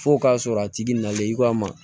F'o k'a sɔrɔ a tigi nalen i k'a ma